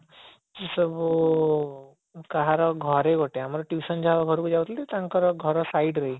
ସେ ସବୁ କାହାର ଘରେ ଗୋଟେ ଆମର tuition ଯାହା ଘରକୁ ଯାଉଥିଲୁ ତାଙ୍କର ଘର side ରେ